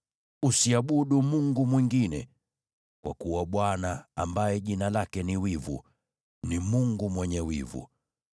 Usiabudu mungu mwingine, kwa kuwa Bwana , ambaye jina lake ni Wivu, ni Mungu mwenye wivu.